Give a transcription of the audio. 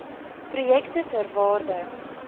projekte ter waarde